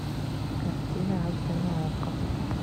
картина аш д на окко